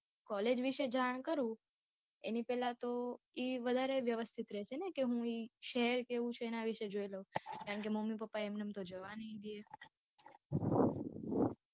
Collage વિશે જાણ કરું એની પહેલા તો એ વધારે વ્યવસ્થિત રહેશે ને કે હું એ શહેર કેવું છે એ જોઈ લઉં. કારણ કે મમ્મી પપ્પા એમ નેમ તો જવા નહી દે.